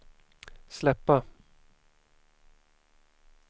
släppa